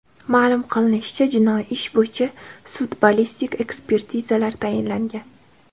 Ma’lum qilinishicha, jinoiy ish bo‘yicha sud-ballistik ekspertizalar tayinlangan.